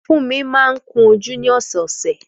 Fúnmi máa ń ko jú ni ọ̀sọ̀ọ̀sẹ̀